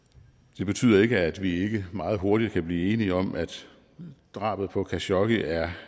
det betyder ikke at vi ikke meget hurtigt kan blive enige om at drabet på khashoggi er